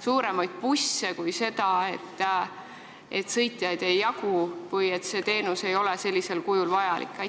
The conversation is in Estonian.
suuremaid busse, mitte seda, et sõitjaid ei jagu või teenus ei ole sellisel kujul vajalik?